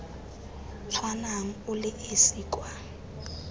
tshwanang o le esi kwa